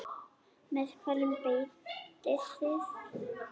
Með hverju beitið þið?